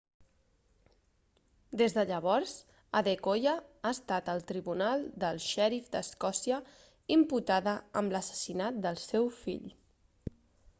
des de llavors adekoya ha estat al tribunal del xèrif d'escòcia imputada amb l'assassinat del seu fill